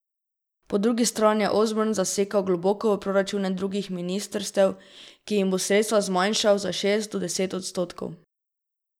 Po drugi strani je Osborne zasekal globoko v proračune drugih ministrstev, ki jim bo sredstva zmanjšal za šest do deset odstotkov.